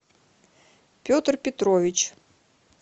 петр петрович